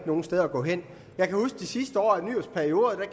nogen steder at gå hen jeg kan huske de sidste år af nyrupperioden